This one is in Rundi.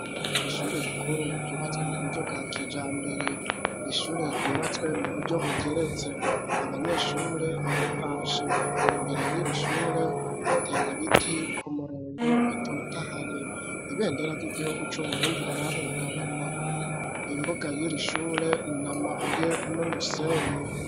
Ishure rikuru ryubatswe mu buryo bwa kijambere ishure ryubatswe mu buryo bugeretse abanyeshure baratashe, imbere y'irishure hateye ibiti ku murongo bitotahaye ,ibendera ry'igihugu c'uburundi rirahungabana, imbuga y'irishure na mabuye n'umusenyi.